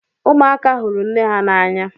Ụmụaka hụrụ nne ha n'anya.